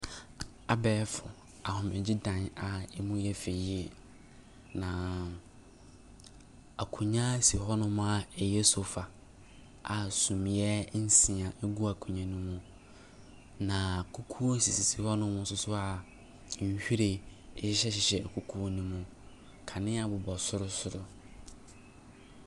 Abɛɛfo ahomgye dan a ɛmu yɛ fɛ yie, na akonnwa si hɔnom a ɛyɛ sofa a suneɛ nsia gu akonnwa ne mu. Na kukuo nso sisi hɔnom a nhwiren hyehyɛhyehyɛ kukuo ne mu. Kanea bobɔ sorosoro.